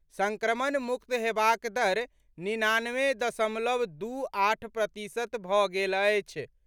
संक्रमणमुक्त हेबाक दर निनानवे दशमलव दू आठ प्रतिशत भऽ गेल अछि।